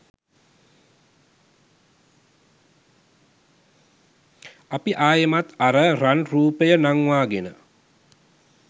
අපි ආයෙමත් අර රන් රූපය නංවාගෙන